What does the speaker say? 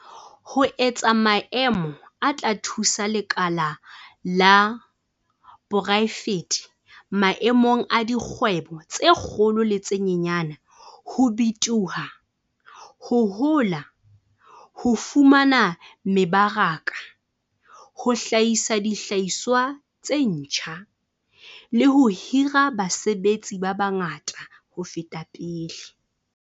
Ho etsa maemo a tla thusa lekala la poraefete maemong a dikgwebo tse kgolo le tse nyenyane ho bitoha, ho hola, ho fumana mebaraka, ho hlahisa dihlahiswa tse ntjha, le ho hira basebetsi ba bangata ho feta pele.